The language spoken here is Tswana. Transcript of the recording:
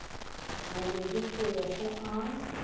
mabedi go ya go a